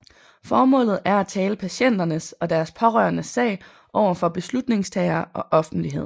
Formålet er at tale patienternes og deres pårørendes sag over for beslutningstagere og offentlighed